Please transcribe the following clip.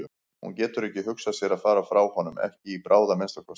Hún getur ekki hugsað sér að fara frá honum, ekki í bráð að minnsta kosti.